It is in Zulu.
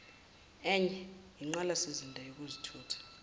enye inqalasizinda yezokuthutha